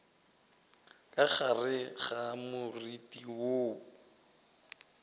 ka gare ga moriti woo